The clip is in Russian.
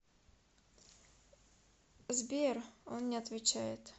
сбер он не отвечает